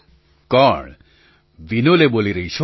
પ્રધાનમંત્રી કોણ વિનોલે બોલી રહી છો